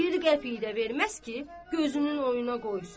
Bir qəpik də verməz ki, gözünün oyuna qoysun.